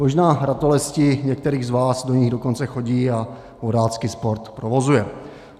Možná ratolesti některých z vás do nich dokonce chodí a vodácký sport provozují.